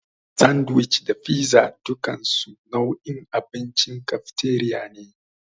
Sandiwic da figza dukansu nau'in abincin kafteriya ne.